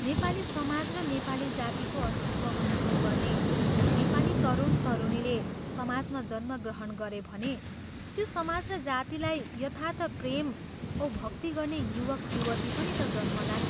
' नेपाली समाज ' र ' नेपाली जाति ' को अस्तित्व अनुभव गर्ने नेपाली तरुण तरुणीले समाजमा जन्म ग्रहण गरे भने त्यो समाज र जातिलाई यथार्थ प्रेम औ भक्ति गर्ने युवक युवती पनि ता जन्मलान्।